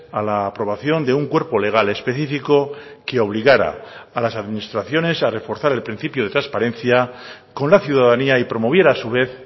a la aprobación de un cuerpo legal específico que obligara a las administraciones a reforzar el principio de transparencia con la ciudadanía y promoviera a su vez